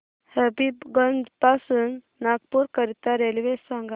हबीबगंज पासून नागपूर करीता रेल्वे सांगा